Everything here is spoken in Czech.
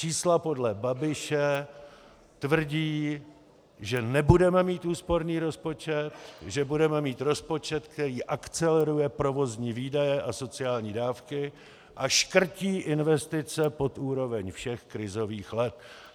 Čísla podle Babiše tvrdí, že nebudeme mít úsporný rozpočet, že budeme mít rozpočet, který akceleruje provozní výdaje a sociální dávky a škrtí investice pod úroveň všech krizových let.